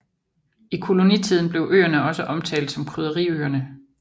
I kolonitiden blev øerne også omtalt som Krydderiøerne